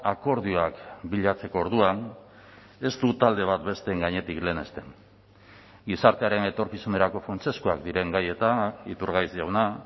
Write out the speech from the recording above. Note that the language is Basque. akordioak bilatzeko orduan ez du talde bat besteen gainetik lehenesten gizartearen etorkizunerako funtsezkoak diren gaietan iturgaiz jauna